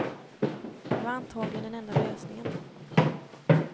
Det var antagligen den enda lösningen.